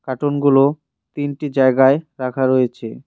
কার্টুনগুলো তিনটি জায়গায় রাখা রয়েছে।